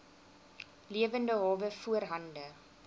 lewende hawe voorhande